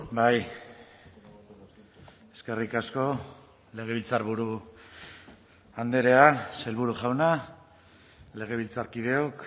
bai eskerrik asko legebiltzarburu andrea sailburu jauna legebiltzarkideok